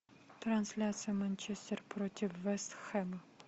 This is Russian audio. трансляция манчестер против вест хэма